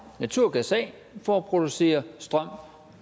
naturgas af for at producere strøm